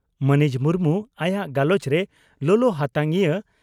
ᱢᱟᱹᱱᱤᱡ ᱢᱩᱨᱢᱩ ᱟᱭᱟᱜ ᱜᱟᱞᱚᱪ ᱨᱮ ᱞᱚᱞᱚ ᱦᱟᱛᱟᱝᱤᱭᱟᱹ